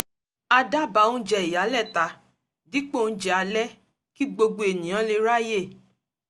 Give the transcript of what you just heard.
a dábàá oúnjẹ ìyálẹ̀ta dípò oúnjẹ alẹ́ kí gbogbo ènìyàn lè ráyè